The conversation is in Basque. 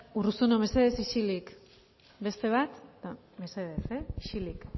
urruzuno mesedez isilik beste bat eta mesedez ehh isilik